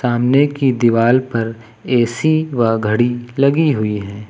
सामने की दीवाल पर ए_सी व घड़ी लगी हुई है।